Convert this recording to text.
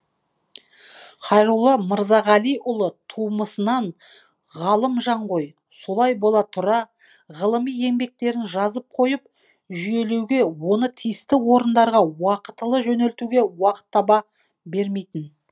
хайролла мырзағалиұлы тумысынан ғалым жан ғой солай бола тұра ғылыми еңбектерін жазып қойып жүйелеуге оны тиісті орындарға уақытылы жөнелтуге уақыт таба бермейтін